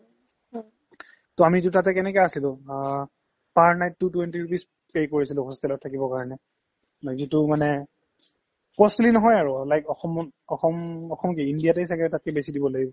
to আমি দুটা তাতে কেনেকে আছিলো অ per night তো twenty rupees pay কৰিছিলো hostel ত থাকিবৰ কাৰণে বাকিতো মানে costly নহয় আৰু like অসমত অসম অসম কি ইণ্ডিয়াতে ছাগে তাতকৈ বেছি দিব লাগিব